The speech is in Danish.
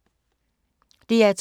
DR2